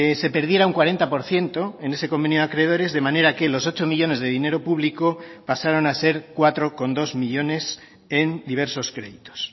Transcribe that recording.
se perdiera un cuarenta por ciento en ese convenio de acreedores de manera que los ocho millónes de dinero público pasaron a ser cuatro coma dos millónes en diversos créditos